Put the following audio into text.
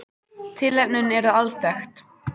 Tilefnin eru alþekkt